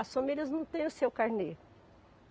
As famílias não têm o seu carnê.